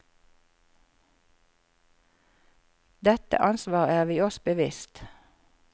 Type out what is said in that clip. Dette ansvaret er vi oss bevisst.